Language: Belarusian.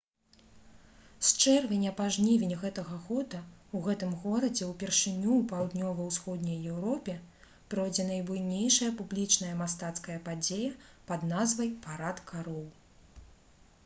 з чэрвеня па жнівень гэтага года ў гэтым горадзе ўпершыню ў паўднёва-ўсходняй еўропе пройдзе найбуйнейшая публічная мастацкая падзея пад назвай «парад кароў»